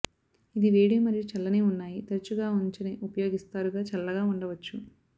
ఇది వేడి మరియు చల్లని ఉన్నాయి తరచుగా ఉంచని ఉపయోగిస్తారు గా చల్లగా ఉండవచ్చు